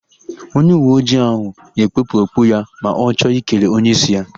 Onyeuweojii ahụ ga-ekpupụ okpu ya ma ọ chọ ikele onyeísí ya.